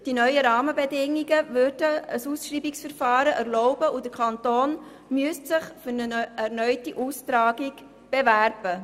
Die neuen Rahmenbedingungen würden ein Ausschreibungsverfahren erlauben, und der Kanton müsste sich für eine erneute Austragung bewerben.